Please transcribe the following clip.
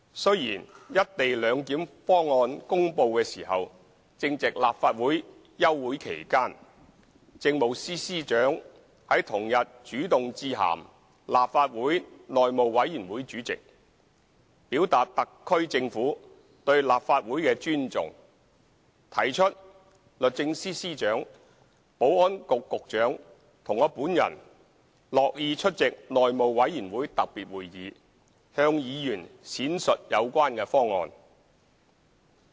雖然"一地兩檢"方案公布時正值立法會休會期間，政務司司長於同日主動致函立法會內務委員會主席，表達特區政府對立法會的尊重，提出律政司司長、保安局局長和我本人樂意出席內務委員會特別會議，向議員闡述有關方案。